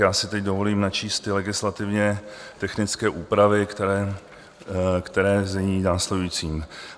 Já si teď dovolím načíst ty legislativně technické úpravy, které zní - následující: